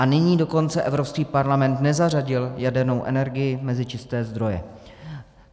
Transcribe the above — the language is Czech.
A nyní dokonce Evropský parlament nezařadil jadernou energii mezi čisté zdroje.